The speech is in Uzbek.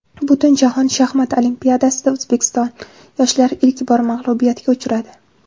Butunjahon shaxmat olimpiadasida O‘zbekiston yoshlari ilk bor mag‘lubiyatga uchradi.